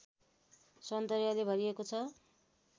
सौन्दर्यले भरिएको छ